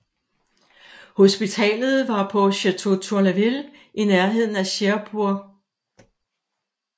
Hospitalet var på Château Tourlaville i nærheden af Cherbourg